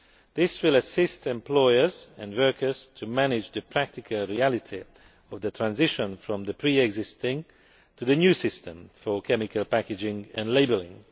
This will assist employers and workers in managing the practical reality of the transition from the pre existing to the new system for chemical packaging and labelling.